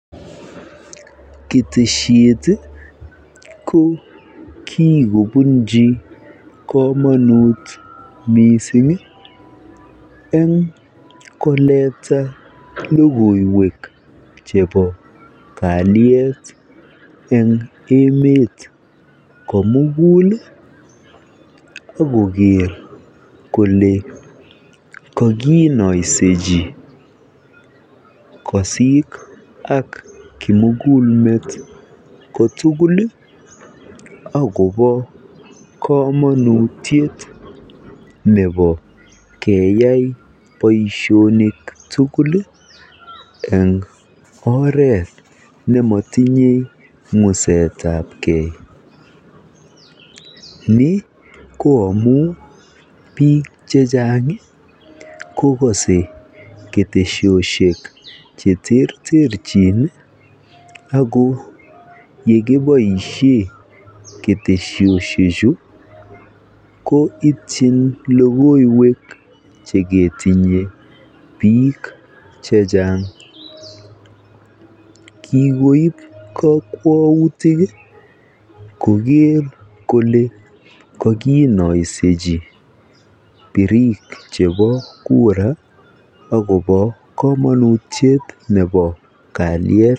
Ketesiet ii ko kikobunji komonut missing eng koleta logoiwek chebo kaliet eng emet komugul akoker kole kokinoisechi koosik ak kimugul met kotuguli ii akopo kamonutiet ne bo keyai boisionik tugul eng oret nemotinye ng'usetapgee ni koo amun biik chechang kokose ketesiosiek cheterterchin ako yekiboisien ketesosiechu koo ityin logoiwek chekitinyee biik chechang kikoip kabwatutik koker kole kokinaisechi birik chepo kura akopo kamonutit nebo kaliet .